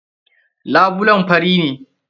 Labulen fari ne?